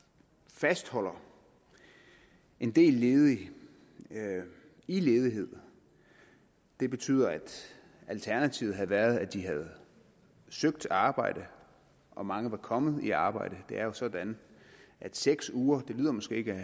fastholder en del ledige i ledighed det betyder at alternativet havde været at de havde søgt arbejde og mange var kommet i arbejde det er jo sådan at seks uger måske ikke